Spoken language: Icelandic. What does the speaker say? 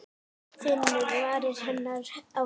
Finnur varir hennar á vanga.